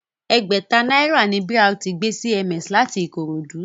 Ẹgbẹ̀ta náírà ni BRT gbé CMS láti Ikorodu